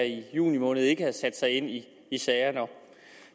i juni måned ikke havde sat sig ind i sagerne